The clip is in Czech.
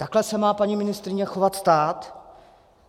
Takhle se má, paní ministryně, chovat stát?